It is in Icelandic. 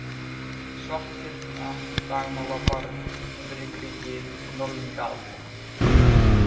Svarthyrna, Dagmálabarð, Heimrikriki, Norðlingaalda